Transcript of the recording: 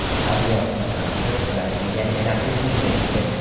Avliyoxon Hamidov braziliyalik raqibini yengdi.